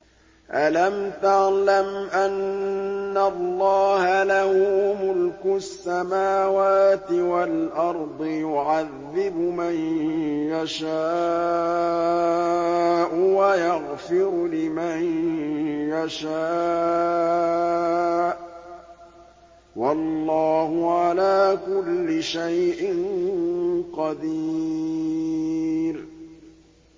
أَلَمْ تَعْلَمْ أَنَّ اللَّهَ لَهُ مُلْكُ السَّمَاوَاتِ وَالْأَرْضِ يُعَذِّبُ مَن يَشَاءُ وَيَغْفِرُ لِمَن يَشَاءُ ۗ وَاللَّهُ عَلَىٰ كُلِّ شَيْءٍ قَدِيرٌ